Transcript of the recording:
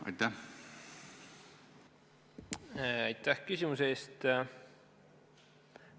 Aitäh küsimuse eest!